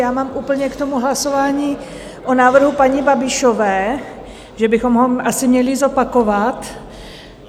Já mám úplně k tomu hlasování o návrhu paní Babišové, že bychom ho asi měli zopakovat.